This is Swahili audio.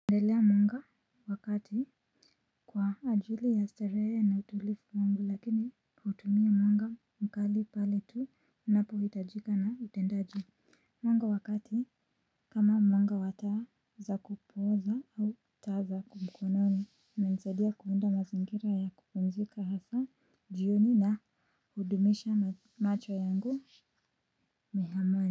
Ndelea mwanga wa kati kwa ajili ya starehe na utulifu wangu lakini utumia mwanga mkali pale tunapohitajika na utendaji mwanga wa kati kama mwanga wa taa za kupooza au taa za mkononi imenisaidia kuunda mazingira ya kupumzika hasa jioni na hudumisha macho yangu mihamwani.